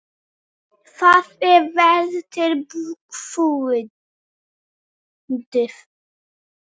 Það er vel til fundið.